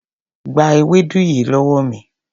Gba ewédú yìí lówó mi.